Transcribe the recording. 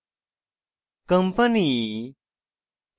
company